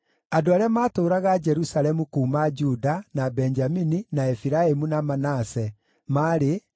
Andũ arĩa maatũũraga Jerusalemu kuuma Juda, na Benjamini, na Efiraimu, na Manase maarĩ: